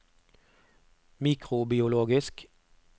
mikrobiologisk